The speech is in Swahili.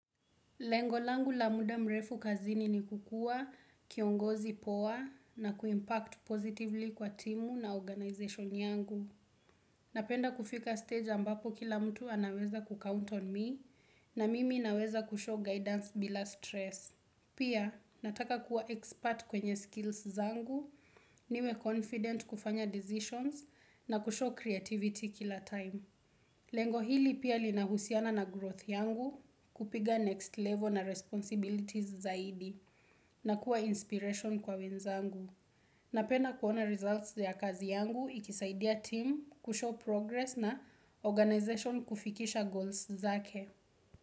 Lengo langu la muda mrefu kazini ni kukuwa kiongozi poa na kuimpact positively kwa timu na organization yangu. Napenda kufika stage ambapo kila mtu anaweza kucount on me na mimi naweza kushow guidance bila stress. Pia nataka kuwa expert kwenye skills zangu, niwe confident kufanya decisions na kushow creativity kila time. Lengo hili pia linahusiana na growth yangu, kupiga next level na responsibilities zaidi, na kuwa inspiration kwa wenzangu. Napenda kuona results ya kazi yangu ikisaidia team kushow progress na organization kufikisha goals zake.